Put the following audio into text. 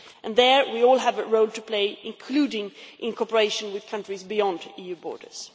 There we all have a role to play, including in cooperation with countries beyond EU borders.